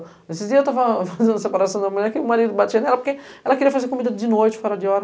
Nesses dias eu estava fazendo a separação da mulher, que o marido batia nela porque ela queria fazer comida de noite, fora de hora.